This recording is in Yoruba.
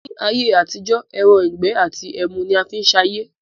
Ni ayé àtijọ́ ẹran ìgbẹ́ àti ẹmu ni a fi ń sayé